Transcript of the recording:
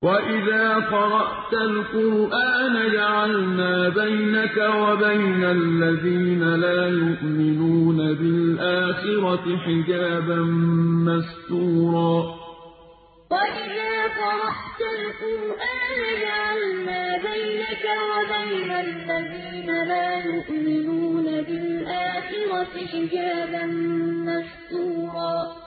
وَإِذَا قَرَأْتَ الْقُرْآنَ جَعَلْنَا بَيْنَكَ وَبَيْنَ الَّذِينَ لَا يُؤْمِنُونَ بِالْآخِرَةِ حِجَابًا مَّسْتُورًا وَإِذَا قَرَأْتَ الْقُرْآنَ جَعَلْنَا بَيْنَكَ وَبَيْنَ الَّذِينَ لَا يُؤْمِنُونَ بِالْآخِرَةِ حِجَابًا مَّسْتُورًا